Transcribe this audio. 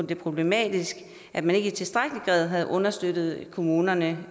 det problematisk at man ikke i tilstrækkelig grad har understøttet kommunerne